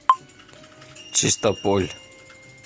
чистополь